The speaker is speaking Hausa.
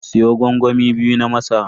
Siyo gwangwami biyu na masara.